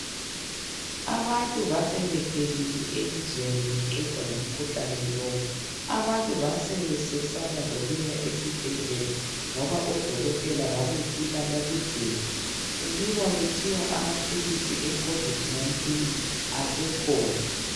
Abantu basebephelile elizweni beqedwa ngumkhuhlane lo. Abantu basebesesaba lokuya esibhedlela ngoba odokotela babefika bakugcine, kubikwa kuthiwa amaphilisi ecovid 19 asekhona.